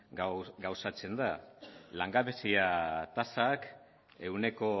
gauzatzen da langabezia tasak ehuneko